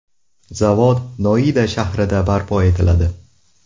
Zavod Noida shahrida barpo etiladi.